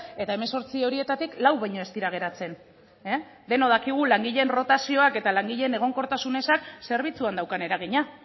eta hemezortzi horietatik lau baino ez dira geratzen denok dakigu langileen rotazioak eta langileen egonkortasun ezak zerbitzuan daukan eragina